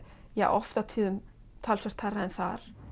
oft á tíðum talsvert hærra en þar